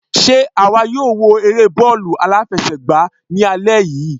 Sé àwa yóò wo eré bọ́ọ̀lù aláfẹsẹ̀gbá ní alẹ́ yìí?